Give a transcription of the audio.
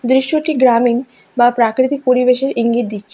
দৃশ্যটি গ্রামীণ বা প্রাকৃতিক পরিবেশের ইঙ্গিত দিচ্ছে।